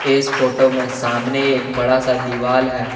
इस फोटो में सामने एक बड़ा है दीवाल है।